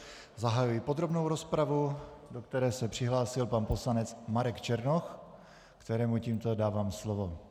Zahajuji podrobnou rozpravu, do které se přihlásil pan poslanec Marek Černoch, kterému tímto dávám slovo.